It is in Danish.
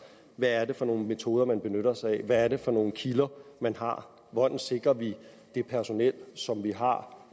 hvad er det for nogle metoder man benytter sig af hvad er det for nogle kilder man har hvordan sikrer vi at det personel som vi har